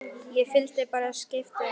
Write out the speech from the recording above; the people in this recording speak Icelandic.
Ég fylgdi bara skip unum.